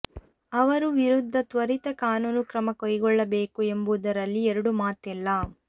ಅವರ ವಿರುದ್ಧ ತ್ವರಿತ ಕಾನೂನು ಕ್ರಮ ಕೈಗೊಳ್ಳಬೇಕು ಎಂಬುದರಲ್ಲಿ ಎರಡು ಮಾತಿಲ್ಲ